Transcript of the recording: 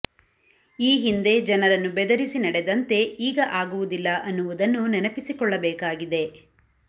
ಈ ಹಿಂದೆ ಜನರನ್ನು ಬೆದರಿಸಿ ನಡೆದಂತೆ ಈಗ ಆಗುವುದಿಲ್ಲ ಅನ್ನುವುದನ್ನೂ ನೆನಪಿಸಿಕೊಳ್ಳಬೇಕಾಗಿದೆ